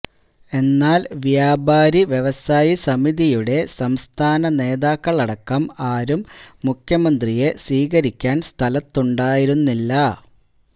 എന്നാല് വ്യാപാരി വ്യവസായി സമിതിയുടെ സംസ്ഥാന നേതാക്കള് അടക്കം ആരും മുഖ്യമന്ത്രിയെ സ്വീകരിക്കാന് സ്ഥലത്തുണ്ടായിരുന്നില്ല